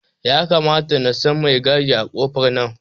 Ya kamata nasa mai gadi a kofar nan